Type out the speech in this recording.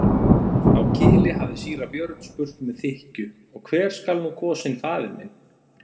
Á Kili hafði síra Björn spurt með þykkju:-Og hver skal nú kosinn faðir minn?